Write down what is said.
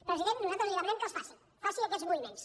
president nosaltres li demanem que els faci faci aquests moviments